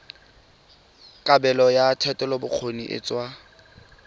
kabelo ya thetelelobokgoni e tsewa